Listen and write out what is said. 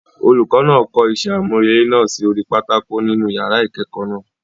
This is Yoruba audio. Olùkọ náà kọ isẹ́ àmúrelé náà sí orí pátákó nínú yàrá ìkẹ́kọ̀ọ́ náà.